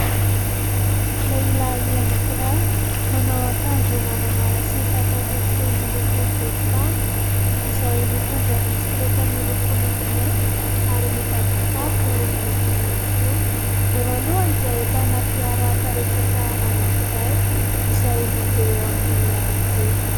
Lehilahy anankiray manao akanjo maramara sy pataloha fohy miloko volontany, izay mitondra bisikileta miloko maintimainty ary mibaby kitapo mainty ihany koa. Eo alohany dia ahitana fiara karetsaka anankiray izay mandeha eo amin'ny arabe.